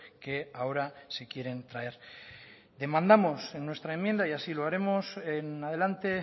que ahora se quieren traer demandamos en nuestra enmienda y así lo haremos en adelante